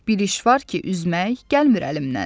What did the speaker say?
Bir iş var ki, üzmək gəlmir əlimdən.